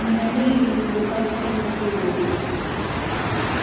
ненавижу эти рукастые поцелуи